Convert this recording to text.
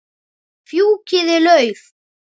Fjúkiði lauf.